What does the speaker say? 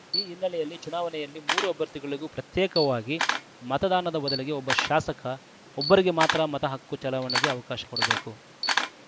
ಈ ಹಿನ್ನೆಲೆಯಲ್ಲಿ ಚುನಾವಣೆಯಲ್ಲಿ ಮೂರು ಅಭ್ಯರ್ಥಿಗಳಿಗೂ ಪ್ರತ್ಯೇಕವಾಗಿ ಮತದಾನದ ಬದಲಿಗೆ ಒಬ್ಬ ಶಾಸಕ ಒಬ್ಬರಿಗೆ ಮಾತ್ರ ಮತಹಕ್ಕು ಚಲಾವಣೆಗೆ ಅವಕಾಶ ಕೊಡಬೇಕು